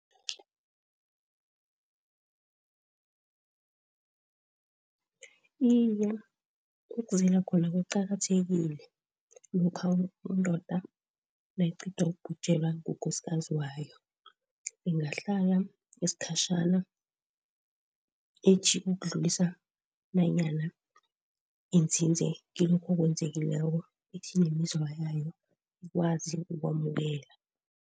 Iye, ukuzila khona kuqakathekile lokha indoda nayiqeda ubhujelwe ngukosikazi wayo. Ingahlala iskhatjhana ithi ukudlulisa nanyana inzinze kilokho okwenzakalileko ithi ikwazi ukwamukela.